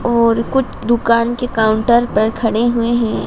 और कुछ दुकान के काउंटर पर खड़े हुए हैं।